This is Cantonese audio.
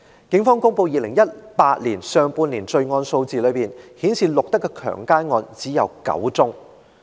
警方公布2018年上半年的罪案數字，顯示錄得的強姦案只有9宗。